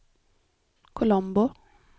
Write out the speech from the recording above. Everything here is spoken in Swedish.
Colombo